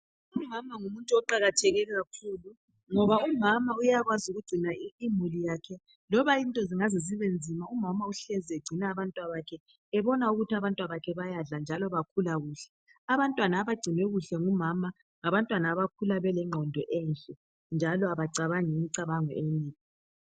Umama ngumuntu oqakatheke kakhulu ngoba umama uyakwazi ukugcina imuli yakhe loba izinto zingaze zibe nzima njani umama uhlezi egcina abantwabakhe ebona ukuthi abantwabakhe bayadla njalo bakhula kuhle. Abantwana abagcinwe kuhle ngumama ngabantwana abakhula belengqondo enhle njalo abacabangi imicabango emibi